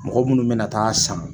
Mɔgɔ munnu mɛna taa san